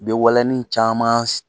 I be walanin caman